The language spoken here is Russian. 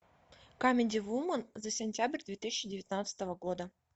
камеди вумен за сентябрь две тысячи девятнадцатого года